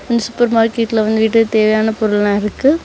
இந்த சூப்பர் மார்கெட்ல வந்துட்டு தேவையான பொருள்லா இருக்கு.